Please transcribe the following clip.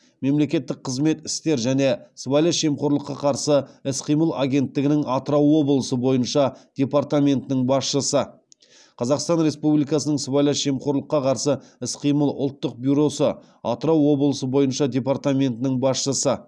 мемлекеттік қызмет істер және сыбайлас жемқорлыққа қарсы іс қимыл агенттігінің атырау облысы бойынша департаментінің басшысы қазақстан республикасының сыбайлас жемқорлыққа қарсы іс қимыл ұлттық бюросы атырау облысы бойынша департаментінің басшысы